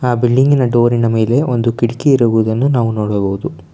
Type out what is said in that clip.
ಆ ಬಿಲ್ಡಿಂಗಿನ ಡೋರ್ ಮೇಲೆ ಕಿಟಕಿ ಇರೋದನ್ನ ನಾವು ನೋಡಬಹುದು.